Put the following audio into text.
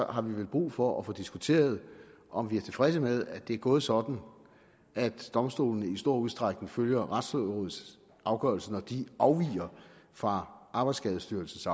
har vi vel brug for at få diskuteret om vi er tilfredse med at det er gået sådan at domstolene i stor udstrækning følger retslægerådets afgørelse når de afviger fra arbejdsskadestyrelsens